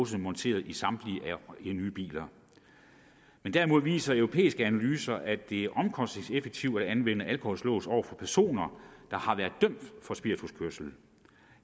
monteret i samtlige nye biler derimod viser europæiske analyser at det er omkostningseffektivt at anvende alkolåse over for personer der har været dømt for spirituskørsel